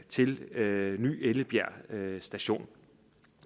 til ny ellebjerg station